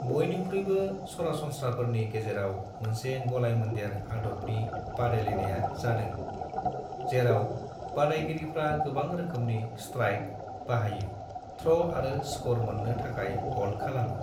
बयनिख्रुइबो सरासनस्राफोरनि गेजेराव मोनसे गलाय-मोनदेर आदबनि बादायलायनाया जादों, जेराव बादायगिरिफ्रा गोबां रोखोमनि स्ट्राइक बाहायो- थ्र' आरो स्क'र मोन्नो थाखाय हल्द खालामो।